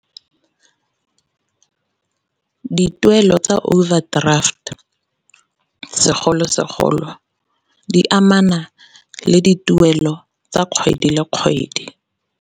Dituelo tsa overdraft segolosegolo di amana le dituelo tsa kgwedi le kgwedi.